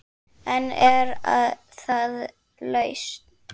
En er það lausn?